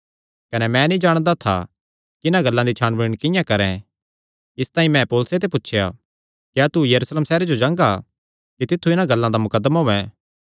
कने मैं नीं जाणदा था कि इन्हां गल्लां दी छाणबीण किंआं करैं इसतांई मैं पौलुसे ते पुछया क्या तू यरूशलेम सैहरे जो जांगा कि तित्थु इन्हां गल्लां दा मुकदमा होयैं